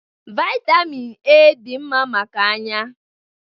Vitamịn Ẹ́ dị mma maka anya.